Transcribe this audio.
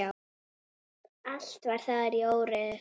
Allt var þar í óreiðu.